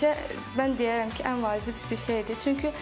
Peşə mən deyərəm ki, ən vacib bir şeydir.